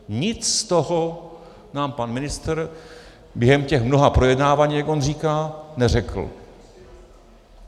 Nic z toho nám pan ministr během těch mnoha projednávání, jak on říká, neřekl.